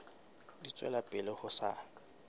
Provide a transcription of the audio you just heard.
di tswela pele ho sa